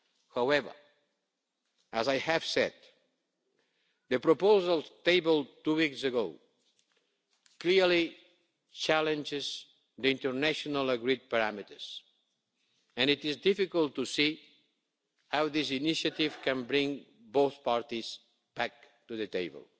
However, as I have said, the proposal tabled two weeks ago clearly challenges the internationally agreed parameters, and it is difficult to see how this initiative can bring both parties back to the table.